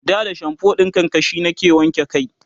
da da shamfo ɗin karkashi nake wanke kai